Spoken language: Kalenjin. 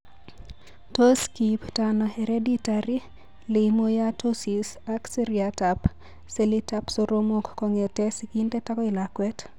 Tos kiipto ano Hereditary Leiomyomatosis ak seriatab selitab soromok kong'etke sigindet akoi lakwet?